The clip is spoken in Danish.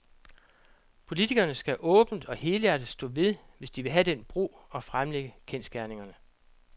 Politikerne skal åbent og helhjertet stå ved, hvis de vil have den bro og fremlægge kendsgerningerne.